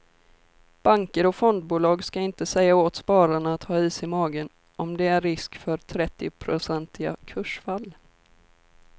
Banker och fondbolag ska inte säga åt spararna att ha is i magen om det är en risk för trettionprocentiga kursfall.